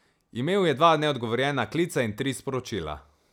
Imel je dva neodgovorjena klica in tri sporočila.